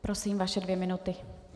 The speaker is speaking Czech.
Prosím, vaše dvě minuty.